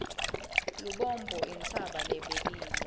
lubombo intsaba lebekile